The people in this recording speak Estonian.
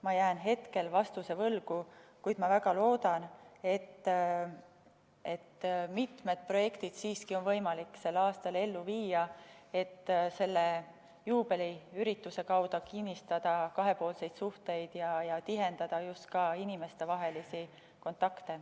Ma jään hetkel vastuse võlgu, kuid ma väga loodan, et siiski on meil võimalik mitmed projektid sel aastal ellu viia ning selle juubeliürituse kaudu kinnistada kahepoolseid suhteid ja tihendada inimestevahelisi kontakte.